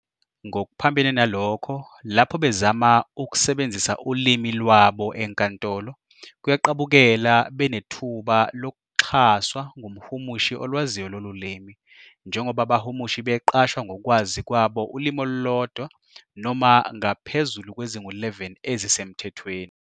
Ngokuphambene nalokho, lapho bezama ukusebenzisa ulimi "lwabo" enkantolo, kuyaqabukela benethuba lokuxhaswa ngumhumushi olwaziyo lolu limi, njengoba abahumushi beqashwa ngokwazi kwabo ulimi olulodwa noma ngaphezulu kwezingu-11 ezisemthethweni.